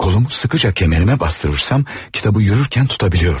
Kolumu sıxıca kəmərimə basdırırsam kitabı yürürkən tuta bilirdim.